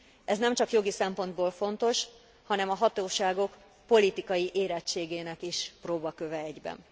Ez nem csak jogi szempontból fontos, hanem a hatóságok politikai érettségének is próbaköve egyben.